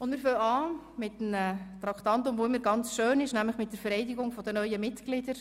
Wir beginnen mit einem Traktandum, das immer sehr schön ist, nämlich mit der Vereidigung der neuen Mitglieder.